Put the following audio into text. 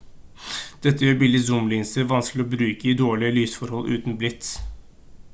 dette gjør billige zoom-linser vanskelig å bruke i dårlige lysforhold uten blits